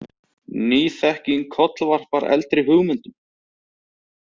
Ný þekking kollvarpar eldri hugmyndum.